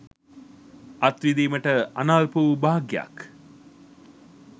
අත්විඳීමට අනල්ප වූ භාග්‍යයක්